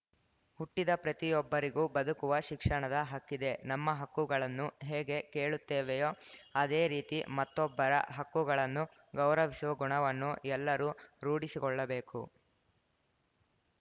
ಹುಟ್ಟಿದ ಪ್ರತಿಯೊಬ್ಬರಿಗೂ ಬದುಕುವ ಶಿಕ್ಷಣದ ಹಕ್ಕಿದೆ ನಮ್ಮ ಹಕ್ಕುಗಳನ್ನು ಹೇಗೆ ಕೇಳುತ್ತೇವೆಯೋ ಅದೇ ರೀತಿ ಮತ್ತೊಬ್ಬರ ಹಕ್ಕುಗಳನ್ನು ಗೌರಿವಿಸುವ ಗುಣವನ್ನು ಎಲ್ಲರೂ ರೂಢಿಸಿಕೊಳ್ಳಬೇಕು